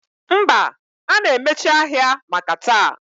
Mba, a na-emechi ahịa maka taa